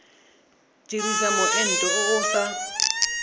dirisa moento o o sa